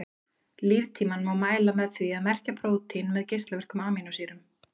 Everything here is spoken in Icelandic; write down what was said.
Líftímann má mæla með því að merkja prótínin með geislavirkum amínósýrum.